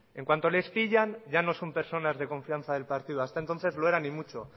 en cuanto les pillan ya no son personas de confianza del partido hasta entonces lo eran y mucho